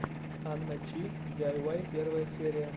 анна чи диайвай первая серия